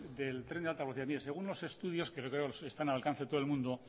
del tren de alta velocidad mira según los estudios que creo que están al alcance de todo el mundo